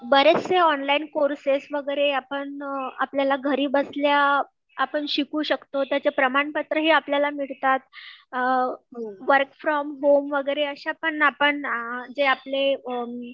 बरेचसे online courses वगैरे आपण आपल्याला घरी बसल्या आपण शिकू शकतो त्याचे प्रमाणपत्र ही आपल्याला मिळतात. अ वर्क फ्रॉम होम वगैरे अशा पण आपण जे आपले